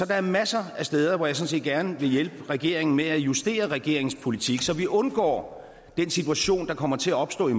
er masser af steder hvor jeg sådan set gerne vil hjælpe regeringen med at justere regeringens politik så vi undgår den situation der kommer til at opstå i